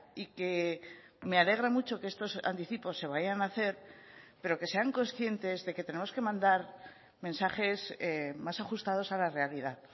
y que me alegra mucho que estos anticipos se vayan a hacer pero que sean conscientes de que tenemos que mandar mensajes más ajustados a la realidad